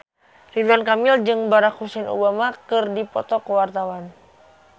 Ridwan Kamil jeung Barack Hussein Obama keur dipoto ku wartawan